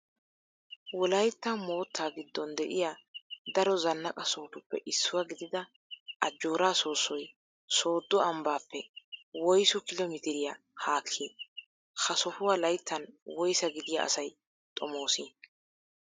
Wolaytta moottaa giddon de'iya daro zannaqa sohotuppe issuwa gidida Ajjooraa soossoy Sooddo ambbaappe woysu kilo mitiriya haakkii? Ha sohuwa layttan woysaa gidiya asay xomoosii?